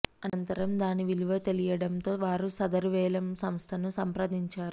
అనంతరం దాని విలువ తెలియటంతో వారు సదరు వేలం సంస్థను సంప్రదించారు